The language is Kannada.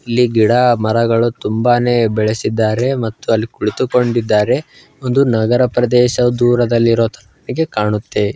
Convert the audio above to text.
ಇಲ್ಲಿ ಗಿಡ ಮರಗಳು ತುಂಬಾನೇ ಬೆಳೆಸಿದ್ದಾರೆ ಮತ್ತು ಕುಳಿತುಕೊಂಡಿದ್ದಾರೆ ಒಂದು ನಗರ ಪ್ರದೇಶ ದೂರದಲ್ಲಿ ಇರೋ ತರ ಕಾಣುತ್ತೆ .